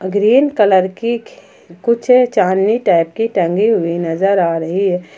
Green colour की कुछ चांदनी टाइप की टंगी हुई नजर आ रही है।